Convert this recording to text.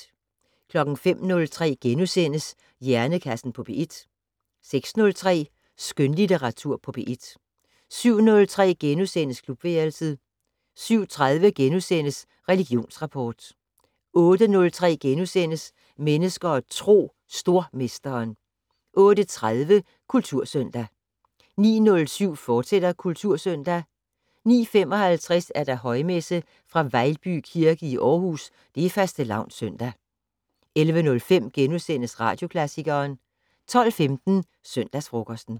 05:03: Hjernekassen på P1 * 06:03: Skønlitteratur på P1 * 07:03: Klubværelset * 07:30: Religionsrapport * 08:03: Mennesker og Tro: Stormesteren * 08:30: Kultursøndag 09:07: Kultursøndag, fortsat 09:55: Højmesse - fra Vejlby kirke, Aarhus. Fastelavnssøndag. 11:05: Radioklassikeren * 12:15: Søndagsfrokosten